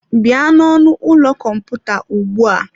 Bịa n'ọnụ ụlọ kọmputa ugbu a!